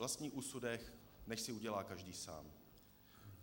Vlastní úsudek nechť si udělá každý sám.